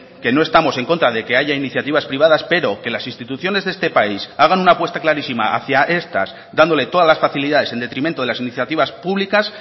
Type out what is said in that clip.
que no estamos en contra de que haya iniciativas privadas pero que las instituciones de este país hagan una apuesta clarísima hacia estas dándole todas las facilidades en detrimento de las iniciativas públicas